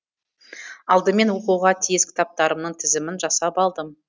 алдымен оқуға тиіс кітаптарымның тізімін жасап алдым